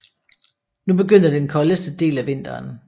Nu begyndte den koldeste del af vinteren